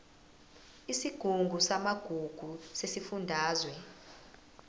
isigungu samagugu sesifundazwe